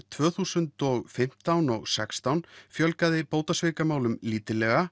tvö þúsund og fimmtán og sextán fjölgaði bótasvikamálum lítillega